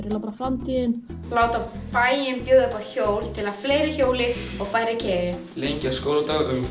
bara framtíðin láta bæinn bjóða upp á hjól til að fleiri hjóli og færri keyri lengja skóladaginn um